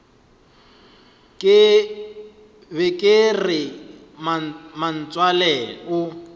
be ke re mmatswale o